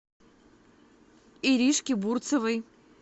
иришке бурцевой